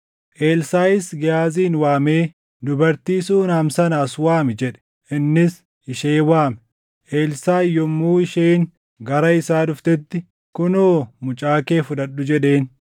Elsaaʼis Gehaazin waamee, “Dubartii Suunam sana as waami” jedhe. Innis ishee waame. Elsaaʼi yommuu isheen gara isaa dhuftetti, “Kunoo mucaa kee fudhadhu” jedheen.